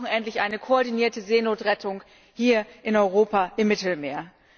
Wir brauchen endlich eine koordinierte Seenotrettung hier in Europa, im Mittelmeer.